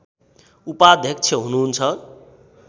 उपाध्यक्ष हुनुहुन्छ